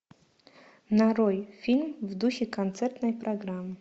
нарой фильм в духе концертной программы